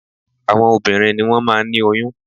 Àwọn obìnrin ni wọ́n máa ń ní oyún